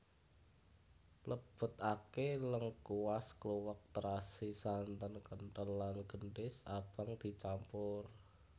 Lebetake lengkuas kluwek terasi santen kentel lan gendhis abang dicampur